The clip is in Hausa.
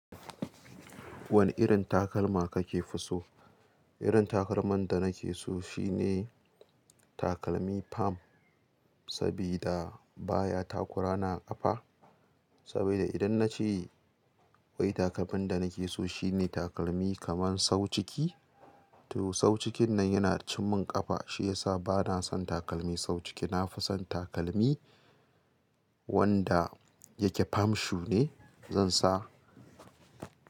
Wane irin takalma kake fi so? Irin takalman da na ke so shine takalmi fam, saboda baya takura ni ƙafa. Saboda idan na ce wai takalmin da na ke so shine takalmi kaman sau ciki, to sau cikin nan yana cin mun ƙafa. Shi ya sa ba na son takalmi sau ciki. Na fi son takalmi wanda yake fam shu ne. Zan sa.